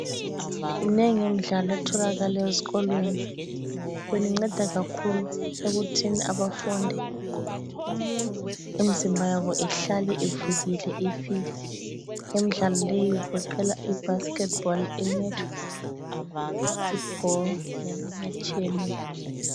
Minengi imidlalo etholakala ezikolweni. Yona inceda kakhulu ekuthini abafundi imizimba yabo ihlale ivukile ifit. Imidlalo leyi igoqela ibasketball, inetball, ifootball leminye etshiyeneyo.